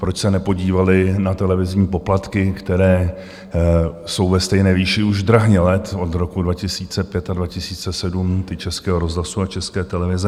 Proč se nepodívali na televizní poplatky, které jsou ve stejné výši už drahně let od roku 2005 a 2007, ty Českého rozhlasu a České televize?